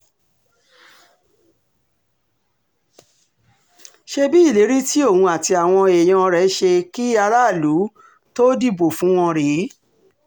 ṣebí ìlérí tí òun àti àwọn èèyàn rẹ̀ ṣe kí aráàlú tóó dìbò fún wọn rèé